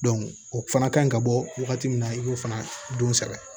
o fana ka ɲi ka bɔ wagati min na i b'o fana don sɛbɛn